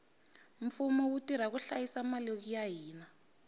mfumo wu tirha ku hlayisa mali ya hina